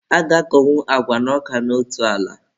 A ga-akọnwu agwa na ọka n'otu ala.